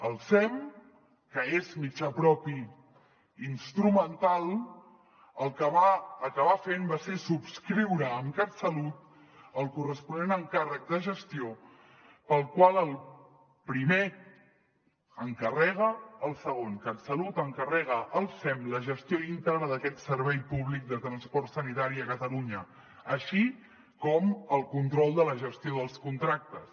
el sem que és mitjà propi instrumental el que va acabar fent va ser subscriure amb catsalut el corresponent encàrrec de gestió pel qual el primer encarrega al segon catsalut encarrega al sem la gestió íntegra d’aquest servei públic de transport sanitari a catalunya així com el control de la gestió dels contractes